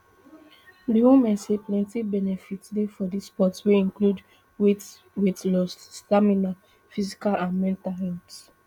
di women say plenti benefits dey for di sport wey include weight weight loss stamina physical and mental health